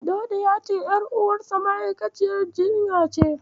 Dauda ya ce, ƴaruwarsa ma'aikaciyar jinya ce.